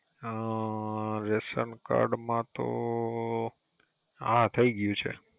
અઅ ration card માં તો હા થય ગયુ છે